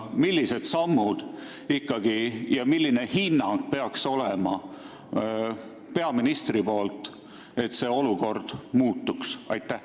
Milliseid samme tuleks ikkagi ette võtta ja milline peaks olema peaministri hinnang, et olukord muutuks?